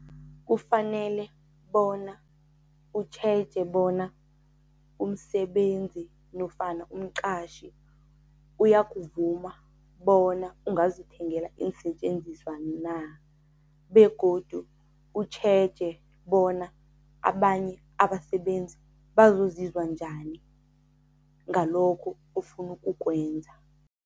Kufanele bona utjheje bona umsebenzi nofana umqatjhi uyakuvuma bona ungazithengela iinsetjenziswa na, begodu utjheje bona abanye abasebenzi bazozizwa njani ngalokho ofuna ukukwenza.